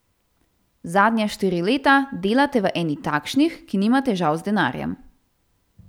Zadnja štiri leta delate v eni takšnih, ki nima težav z denarjem.